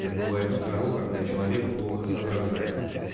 как бывает в жару когда человек плохо соображает